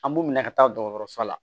An b'u minɛ ka taa dɔgɔtɔrɔso la